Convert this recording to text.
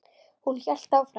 Hún hélt áfram.